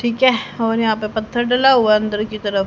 ठीक है और यहां पे पत्थर डला हुआ अंदर की तरफ--